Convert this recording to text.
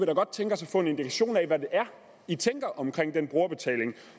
da godt tænke os at få en indikation af hvad det er i tænker om den brugerbetaling